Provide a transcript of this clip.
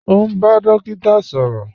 Ọ̀ n bá dòkíta sọrọ